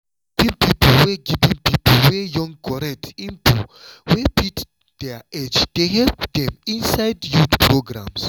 giving pipo wey giving pipo wey young correct info wey fit their age dey help dem inside youth programs.